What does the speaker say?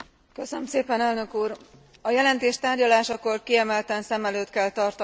A jelentés tárgyalásakor kiemelten szem előtt kell tartanunk a fogyasztók érdekeit.